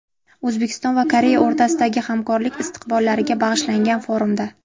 O‘zbekiston va Koreya o‘rtasidagi hamkorlik istiqbollariga bag‘ishlangan forumda.